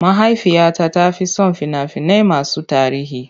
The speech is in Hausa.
Mahaifiyata ta fi son fina-finai masu tarihi.